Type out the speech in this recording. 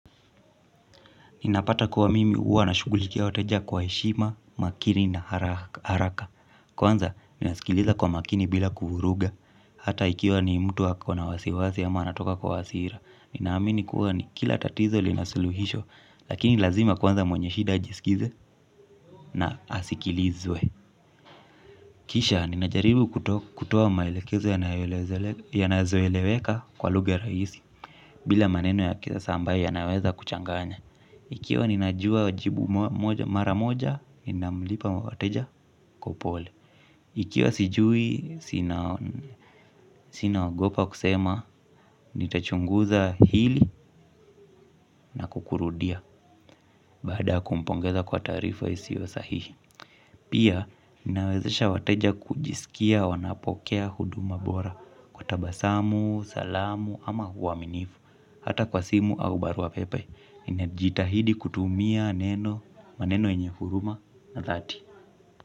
Ninapata kuwa mimi huwa nashugulikia wateja kwa heshima, makini na haraka. Kwanza ninasikiliza kwa makini bila kuvuruga. Hata ikiwa ni mtu ako na wasiwasi ama atoka kwa hasira. Ninaamini kuwa ni kila tatizo lina suluhisho. Lakini lazima kwanza mwenye shida ajisikize na asikilizwe. Kisha, ninajaribu kutoa maelekezo yanazoeleweka kwa lugha rahisi. Bila maneno ya kisasa ambaye yanaweza kuchanganya. Ikiwa ninajua wajibu mara moja, ninamlipa wateja kwa upole. Ikiwa sijui, sina ogopa kusema, nitachunguza hili na kukurudia, baada kumpongeza kwa taarifa isiyo sahihi. Pia, ninawezesha wateja kujisikia wanapokea huduma bora, kwa tabasamu, salamu, ama uaminifu, hata kwa simu au barua pepe. Ninajitahidi kutumia neno maneno yenye huruma na dhati.